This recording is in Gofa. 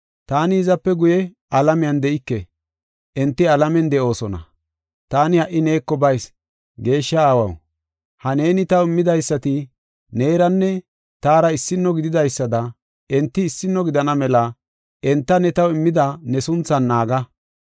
Taani hizape guye alamiyan de7ike; enti alamen de7oosona. Taani ha77i neeko bayis. Geeshsha Aawaw, ha neeni taw immidaysati neeranne taara issino gididaysada enti issino gidana mela enta ne taw immida ne sunthan naaga.